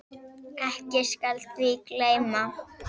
Ekki skal því gleymt.